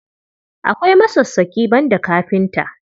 Akwai masassaƙi, banda kafinta.